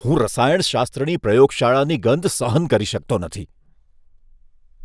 હું રસાયણશાસ્ત્રની પ્રયોગશાળાની ગંધ સહન કરી શકતો નથી.